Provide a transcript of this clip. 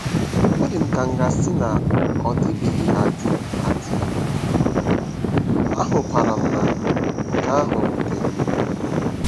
Ọ dị m ka a ga-asị na ọ dịbeghị adị, adị, ahụkwara m na nke ahụ wutere m nke ukwuu. ”